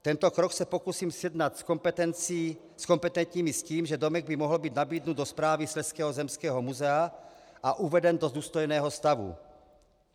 Tento krok se pokusím sjednat s kompetentními s tím, že domek by mohl být nabídnut do správy Slezského zemského muzea a uveden do důstojného stavu.